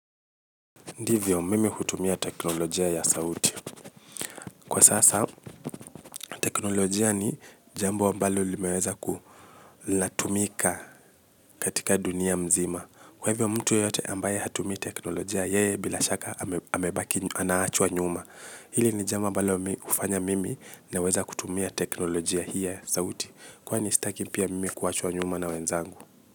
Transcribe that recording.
Ndivyo mimi hutumia teknolojia ya sauti. Kwa sasa teknolojia ni jambo mbalo limeweza ku latumika katika dunia mzima. Kwa hivyo mtu yote ambaye hatumii teknolojia yeye bila shaka amebaki anaachwa nyuma. Hili ni jambo ambalo hufanya mimi naweza kutumia teknolojia hii ya sauti. Kwani sitaki pia mimi kuachwa nyuma na wenzangu.